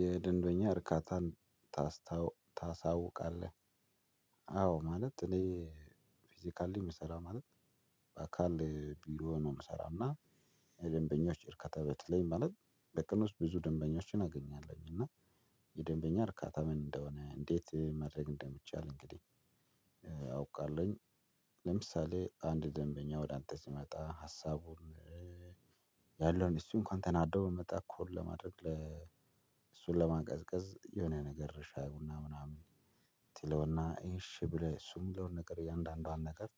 የደንበኛ እርካታን ታስታው ታሳውቃለህ አዎ ማለት እኔ ፊዚካል ላይ የምሰራ ማለት በአካል ቢሮ ነው የምሰራው። እና የለደንበኞች እርካታ በተለይም ማለት በትምህርት ብዙ ደንበኞችን አገኛለሁኝ እና የደንበኛ እርካታ ምን እንደሆነ እንዴት ማድረግ እንደሚቻል እንግዲህ አውቃለሁኝ። ለምሳሌ አንድ ደንበኛ ወደ አንተ ሲመጣ ሀሳቡን ያለውን እሱ እንኳን ተናደው ብንመጣ ኩል ለማድረግ እሱን ለማቀዝቀዝ የሆነ ነገር ሻይ ቡና ምናምን ትለውና እሺ ብለህ እሱ ሚለን ነገር እያንዳንዷን ነገር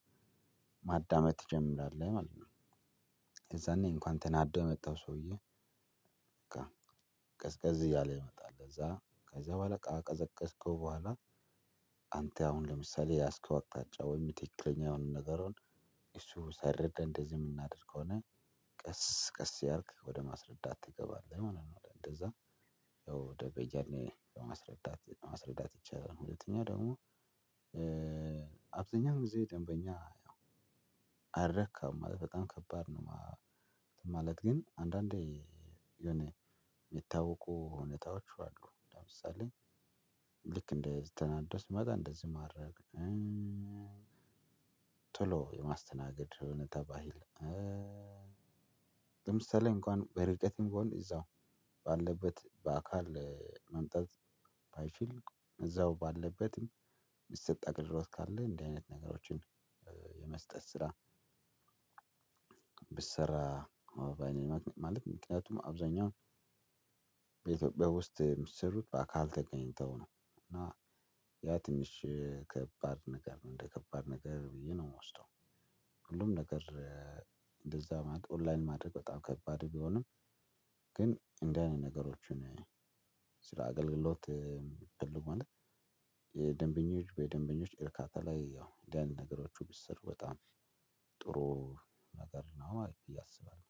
ማዳመጥ ትጀምራለህ ማለት ነው። የዛኔ እንኳን ተናዶ የመጣሁ ሰውዬ በቃ ቀዝቀዝ እያለ ይመጣል። እዛ ከዛ በኋላ ካቀዘቀዝከው በኋላ አንተ አሁን ለምሳሌ የያስከው አቅጣጫ ወይም ትክክለኛ የሆነ ነገርህን እሱ ሳይረዳ እንደዚህ የምናደርግ ከሆነ ቀስ ቀስ ያልክ ወደ ማስረዳት ትገባለህ ማለት ነው። እንደዛ ያው ደንበኛን ለማስረዳት ማስረዳት ይቻላል። ሁለተኛ ደግሞ አብዛኛው ጊዜ ደንበኛ አረካም ማለት በጣም ከባድ ነው። ማለት ግን አንዳንዴ የሆነ የሚታወቁ እውነታዎች አሉ። ለምሳሌ ልክ እንደ ዚህ ተናዶ ሲመጣ እንደዚህ ማድረግ ቶሎ የማስተናገድ ይመጣብሃል። ለምሳሌ እንኳን በርቀት እንኳን እዛ ባለበት በአካል መምጣት ባይችል እዛው ባለበትም የሚሰጥ አገልግሎት ካለ እንዲህ አይነት ነገሮችን የመስጠት ስራ ብሰራ ነው በኔ በኩል ማለት ነው። ምክኒያቱም አብዛኛው በኢትዮጵያ ውስጥ ሚሰሩት በ አካል ተገናኝተው ነው እና ያ ትንሽ ከባድ ነገር ነው ወደከባድ ነገር ነው ሚወስደው። ሁሉም ነገር እንደዛ ማድ ኦንላይን ማድረግ በጣም ከባድ ቢሆንም ግን እንደዚህ አይነት ነገሮችን አገልግሎት ማለት የደንበኞች በደንበኞች በእርካታ ላይ ያው እንዲህ አይነት ነገሮች ቢሰሩ በጣም ጥሩ ነገር ነው አሪፍ ብየ አስባለው።